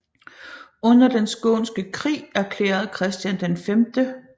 Under den skånske krig erklærede Christian 5